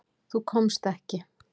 Þú komst ekki.